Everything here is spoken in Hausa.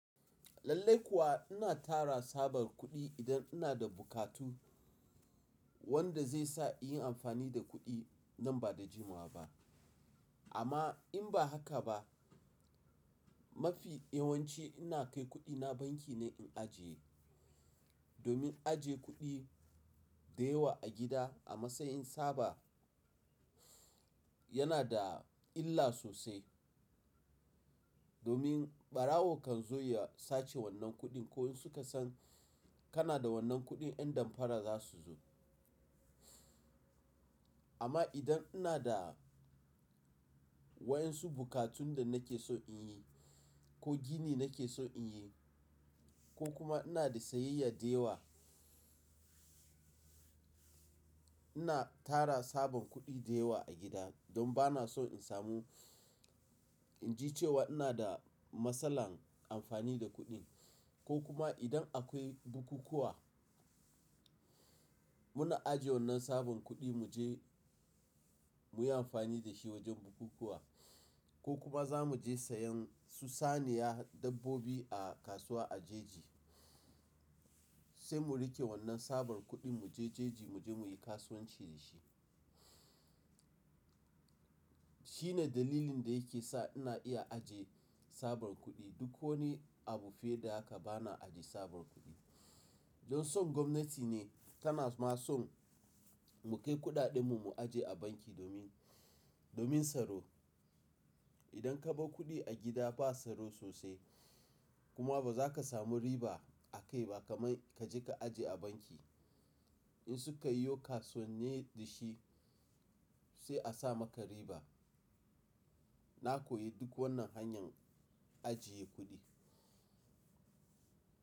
Lallai kuwa ina tara sabar kuɗi idan ina da bukatu wanda zai sa in yi amfani da kuɗi nan ba da jimawa ba. Amma in ba haka ba, mafi yawanci ina kai kuɗina banki ne in ajiye. Domin aje kuɗi da yawa a gida a matsayin saba yana da illa sosai. Domin ɓarawo kan zo ya sace wannan kuɗin ko in suka san kana da wannan kuɗin yan damfara za su zo. Amma idan ina da waɗansu bukatun da nake so in yi ko gini nake so in yi ko kuma ina da sayayya da yawa, ina tara sabon kuɗi da yawa a gida don ba na so in samu, in ji cewa ina da matsalar amfani da kuɗi ko kuma idan akwai bukukuwa muna ajiye wannan sabon kuɗi mu je mu yi amfani da shi wajen bukukuwa ko kuma za mu je sayan su saniya dabbobi a kasuwa a jeji sai mu riƙe wannan sabon kuɗin mu je jeji mu je mu yi kasuwanci da shi. Shine dalilin da yake sa ina iya ajiye sabon kuɗi. Duk wani abu fiye da haka ba na ajiye sabon kuɗi. Don son gwamnati ne tana ma son mu kai kuɗaɗenmu mu ajiye a banki domin, domin tsaro. Idan ka bar kuɗi a gida ba tsaro sosai kuma ba za ka samu riba a kai ba kamar ka je ka ajiye a banki. In su ka yi yo kasuwannin da shi sai a sa maka riba. Na koyi duk wannan hanyar ajiye kuɗi.